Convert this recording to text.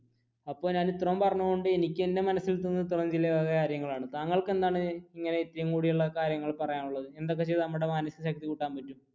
ഞാൻ ഇത്രയും പറഞ്ഞതുകൊണ്ട് എനിക്ക് എൻറെ മനസ്സിൽ തോ തോന്നുന്ന ഈ വക കാര്യങ്ങളാണ് താങ്കൾക്ക് എന്താണ്